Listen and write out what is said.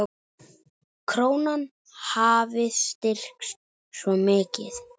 Krónan hafi styrkst svo mikið.